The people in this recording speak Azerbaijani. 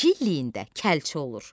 İki illiyində kəlçe olur.